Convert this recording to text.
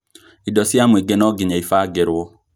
Indo cia mũingĩ nonginya ibagĩrwo